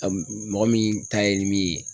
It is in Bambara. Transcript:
Mɔgɔ min ta ye min ye